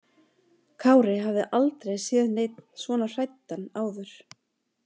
Kári hafði aldrei séð neinn svona hræddan áður.